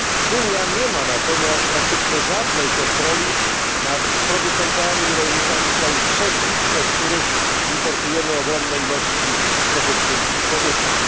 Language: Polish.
Unia nie ma natomiast praktycznie żadnej kontroli nad producentami i rolnikami z krajów trzecich, od których importujemy ogromne ilości produktów spożywczych.